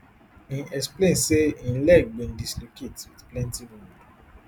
im explain say im leg bin dislocate wit plenti wound